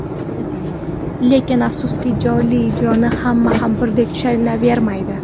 Lekin afsuski, jonli ijroni hamma ham birdek tushunavermaydi.